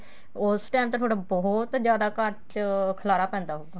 ਉਸ time ਤਾਂ ਤੁਹਾਡਾ ਬਹੁਤ ਜਿਆਦਾ ਘਰ ਚ ਖਲਾਰਾ ਪੈਂਦਾ ਹੋਊਗਾ